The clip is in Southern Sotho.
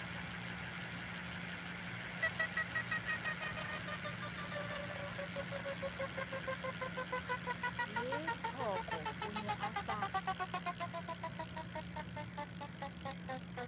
lethoko o ne a sa